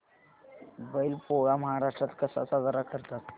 बैल पोळा महाराष्ट्रात कसा साजरा करतात